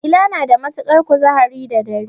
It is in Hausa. Dila na da matuƙar kuzari da dare.